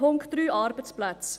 Punkt 3, Arbeitsplätze: